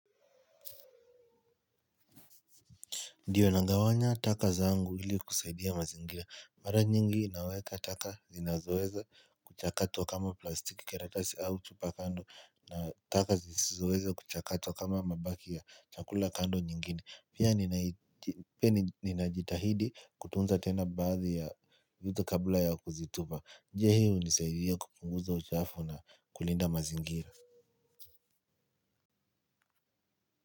Ndio nagawanya taka zangu ili kusaidia mazingira mara nyingi naweka taka zinazoweza kuchakatwa kama plastiki karatasi au chupa kando na taka zisizoweza kuchakatwa kama mabaki ya chakula kando nyingine pia ninajitahidi kutunza tena baadhi ya vitu kabla ya kuzitupa je hii hunisaidia kupunguza uchafu na kulinda mazingira.